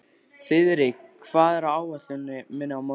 Þiðrik, hvað er á áætluninni minni í dag?